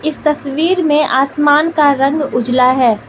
इस तस्वीर में आसमान का रंग उजला है।